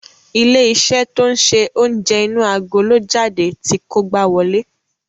Ilé-iṣẹ́ to ń ṣe oúnjẹ inú agolo jáde ti kógbá wọlé.